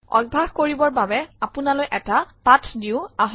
অভ্যাস কৰিবৰ বাবে আপোনালৈ এটা পাঠ দিওঁ আহক